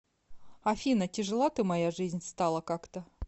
афина тяжела ты моя жизнь стала как то